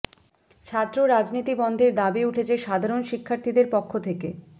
ছাত্র রাজনীতি বন্ধের দাবি উঠেছে সাধারণ শিক্ষার্থীদের পক্ষ থেকে